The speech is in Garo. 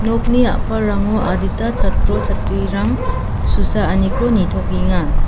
nokni a·palrango adita chatro-chatrirang susaaniko nitokenga.